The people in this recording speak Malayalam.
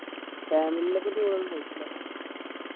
family ൻ്റെപ്പോ tour ഒന്ന് പോയില്ല